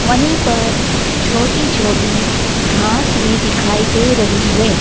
वहीं पर छोटी छोटी घास भी दिखाई दे रही है।